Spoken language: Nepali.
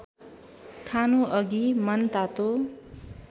खानुअघि मनतातो